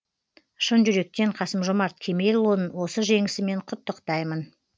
шын жүректен қасым жомарт кемелұлын осы жеңісімен құттықтаймын